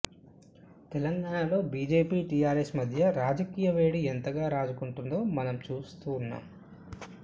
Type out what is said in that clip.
తెలంగాణలో BJP TRS మధ్య రాజకీయ వేడి ఎంతగా రాజుకుంటుందో మనం చూస్తూ ఉన్నాం